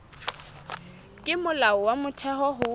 ke molao wa motheo ho